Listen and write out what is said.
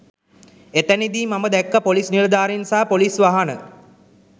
එතැනදී මම දැක්කා පොලිස් නිලධාරීන් සහ පොලිස් වාහන